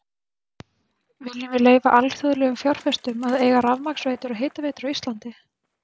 Viljum við leyfa alþjóðlegum fjárfestum að eiga rafmagnsveitur og hitaveitur á Íslandi?